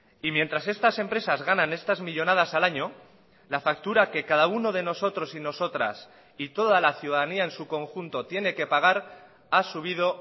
y mientras estas empresas ganan estas millónadas al año la factura que cada uno de nosotros y nosotras y toda la ciudadanía en su conjunto tiene que pagar ha subido